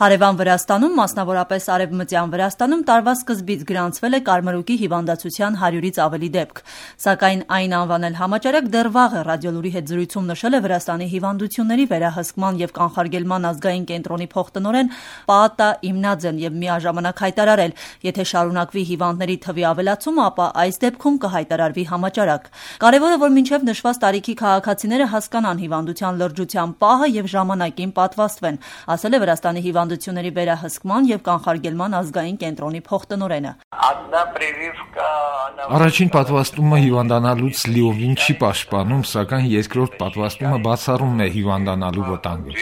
Հարևան Վրաստանում` մասնավորապես Արևմտյան Վրաստանում, տարվա սկզբից գրանցվել է կարմրուկի հիվանդացության 100-ից ավելի դեպք: Սակայն այն անվանել համաճարակ դեռ վաղ է՝ «Ռադիոլուր»-ի հետ զրույցում նշել է Վրաստանի հիվանդությունների վերահսկման և կանխարգելման ազգային կենտրոնի փոխտնօրեն Պաատա Իմնաձեն, և միաժամանակ հայտարարել՝ եթե շարունակվի հիվանդների թվի ավելացումը, ապա այս դեպքում կհայտարարվի համաճարակ: Կարևորը, որ մինչև նշված տարիքի քաղաքացիները հասկանան հիվանդության լրջության պահը և ժամանակին պատվաստվեն, ասել է Վրաստանի հիվանդությունների վերահսկման և կանխարգելման ազգային կենտրոնի փոխտնօրենը: «Առաջին պատվաստումը հիվանդանալուց լիովին չի պաշտպանում, սակայն երկրորդ պատվաստումը բացառում է հիվանդանալու վտանգը»: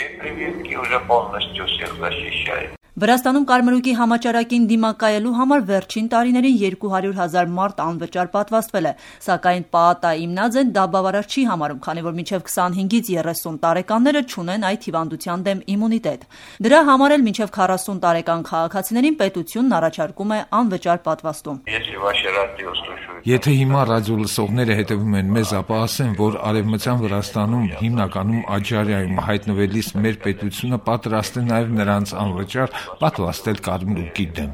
Վրաստանում կարմրուկի համաճարակին դիմակայելու համար վերջին տարիներին 200 հազար մարդ անվճար պատվաստվել է: Սակայն Պաատա Իմնաձեն դա բավարար չի համարում, քանի որ մինչև 25-30 տարեկանները չունեն այդ հիվանդության դեմ իմունիտետ։ Դրա համար էլ մինչև 40 տարեկան քաղաքացիներին պետությունն առաջարկում է անվճար պատվաստում: « Եթե հիմա ռադիոլսողները հետևում են մեզ, ապա ասեմ, որ Արևմտյան Վրաստանում՝ հիմնականում Աջարիայում, հայտնվելիս մեր պետությունը պատրաստ է նաև նրանց անվճար պատվաստել կարմրուկի դեմ»: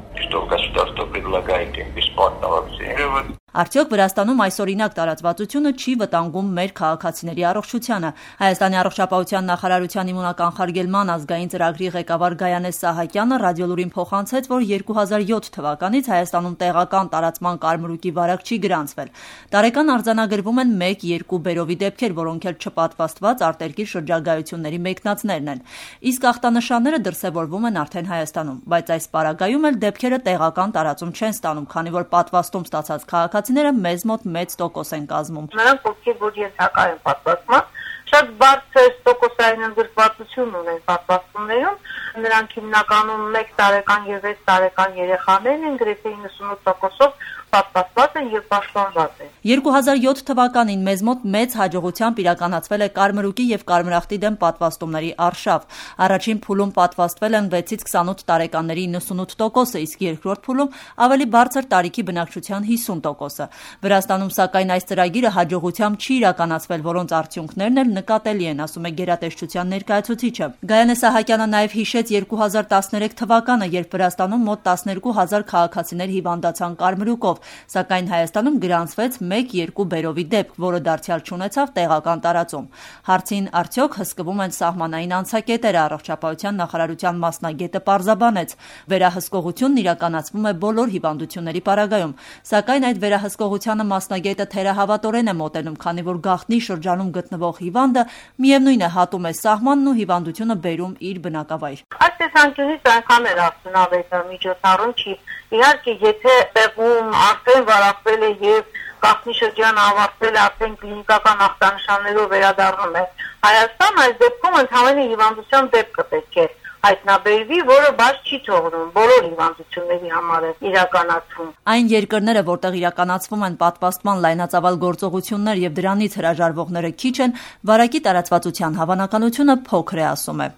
Արդյո՞ք Վրաստանում այսօրինակ տարածվածությունը չի վտանգում մեր քաղաքացիների առողջությանը: Հայաստանի առողջապահության նախարարության իմունականխարգելման ազգային ծրագրի ղեկավար Գայանե Սահակյանը «Ռադիոլուր»-ին փոխանցեց, որ 2007 թվականից Հայաստանում տեղական տարածման կարմրուկի վարակ չի գրանցվել: Տարեկան արձանագրվում են մեկ-երկու բերովի դեպքեր, որոնք էլ չպատվաստված արտերկիր շրջագայությունների մեկնածներն են: Իսկ ախտանշանները դրսևորվում են արդեն Հայաստանում: Բայց այս պարագայում էլ, դեպքերը տեղական տարածում չեն ստանում, քանի որ պատվաստում ստացած քաղաքացիները մեզ մոտ մեծ տոկոս են կազմում: «Նրանք, ովքեր ենթակա են պատվաստման, շատ բարձր տոկոս են կազմում: նրանք հիմնականում 1 և 6 տարեկան երեխաներն են, որոնք գրեթե 98 տոկոսով պատվաստված են և պաշտպանված»: 2007 թվականին մեզ մոտ մեծ հաջողությամբ իրականացվել է կարմրուկի և կարմրախտի դեմ պատվաստումների արշավ: Առաջին փուլում պատվաստվել են 6-28 տարեկանների 98 տոկոսը, իսկ երկրորդ փուլում‘ ավելի բարձր տարիքի բնակչության 50 տոկոսը: Վրաստանում, սակայն, այս ծրագիրը հաջողությամբ չի իրականացվել, որոնց արդյունքներն էլ նկատելի են, ասում է գերատեսչության ներկայացուցիչը: Գայանե Սահակյանը նաև հիշեց 2013 թվականը, երբ Վրաստանում մոտ 12, հազար քաղաքացիներ հիվանդացան կարմրուկով, սակայն Հայաստանում գրանցվեց մեկ-երկու բերովի դեպք, որը դարձյալ չունեցավ տեղական տարածում: Հարցին, արդյոք հսկվում են սահմանային անցակետերը, ԱՆ մասնագետը պարզաբանեց, որ վերահսկողությունն իրականացվում է բոլոր հիվանդությունների պարագայում: Սակայն այդ վերահսկողությանը թերահավատորեն է մոտենում, քանի որ գաղտնի շրջանում գտնվող հիվանդը միևնույն է հատում է սահմանն ու հիվանդությունը բերում իր բնակավայր: «Այս տեսանկյունից այնքան էլ արդյունավետ միջոցառում չէ: Իհարկե՝ տեղում, եթե անգամ վարակվել է և գաղտնի շրջանն արդեն ավարտվել է ու կլինիկական ախտանշաններով վերադառնում է Հայաստան, այս դեպքում հիվանդության դեպքը պետք է հայտնաբերվի, որը բաց չի թողնվում, բոլոր հիվանդությունների պարագայում է կատարվում»: Այն երկրները, որտեղ իրականացվում են պատվաստման լայնածավալ գործողություններ, և դրանից հրաժարվողներ քիչ են, վարակին տարածվածության հավանականությունը փոքր է՝ ասում է։